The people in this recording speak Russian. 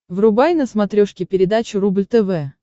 врубай на смотрешке передачу рубль тв